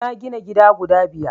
na gina gida guda biyar